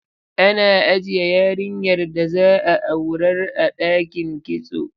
Ana ajiye yarinyar da za a aurar a ɗakin kitso.